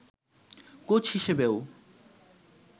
coach হিসেবেও